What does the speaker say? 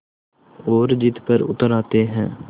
और ज़िद पर उतर आते हैं